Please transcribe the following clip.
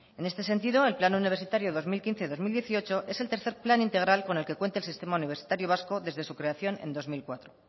en este sentido el plan universitario dos mil quince dos mil dieciocho es el tercer plan integral con el que cuenta el sistema universitario vasco desde su creación en dos mil cuatro